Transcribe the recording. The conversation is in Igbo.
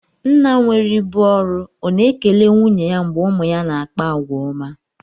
Nna nwere ibu ọrụ ọ̀ na ekele nwunye ya mgbe ụmụ ya na-akpa àgwà ọma?